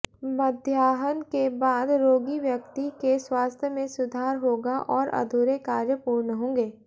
मध्याहन के बाद रोगी व्यक्ति के स्वास्थ्य में सुधार होगा और अधूरे कार्य पूर्ण होंगे